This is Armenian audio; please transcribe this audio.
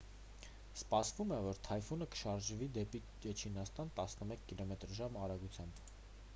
սպասվում է որ թայֆունը կշարժվի դեպի չինաստան տասնմեկ կմ/ժ արագությամբ: